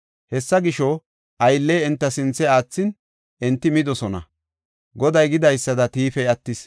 Hessa gisho, aylley enta sinthe aathin, enti midosona; Goday gidaysada tiifey attis.